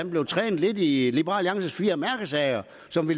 blev trænet lidt i liberal alliances fire mærkesager